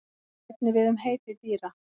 Það á einnig við við um heiti dýra.